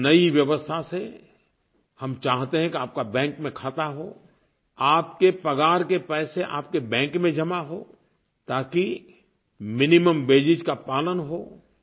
इस नई व्यवस्था से हम चाहते हैं कि आपका बैंक में खाता हो आपके पगार के पैसे आपके बैंक में जमा हों ताकि मिनिमम वेजेस का पालन हो